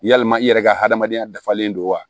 Yalima i yɛrɛ ka hadamadenya dafalen don wa